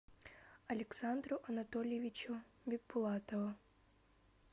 александру анатольевичу бикбулатову